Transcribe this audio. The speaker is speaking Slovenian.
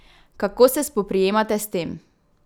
Kako se spoprijemate s tem?